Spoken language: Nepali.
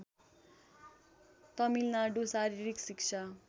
तमिलनाडु शारीरिक शिक्षा